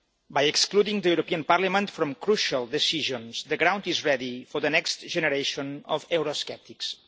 By excluding the European Parliament from crucial decisions, the ground is ready for the next generation of eurosceptics.